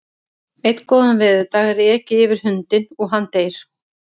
Einn góðan veðurdag er ekið yfir hundinn og hann deyr.